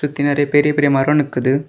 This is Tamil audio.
சுத்தி நெறைய பெரிய பெரிய மரோ நிக்குது.